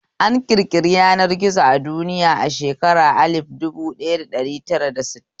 An ƙirƙiri yanar gizo a duniya a shekarun alif dubu ɗaya da ɗari tara da sittin